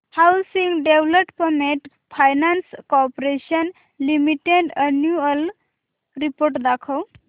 housing development finance corporation limited annual report दाखव